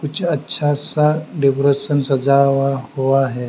कुछ अच्छा सा डेकोरेशन सजा हुआ है।